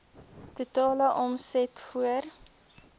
totale omset voor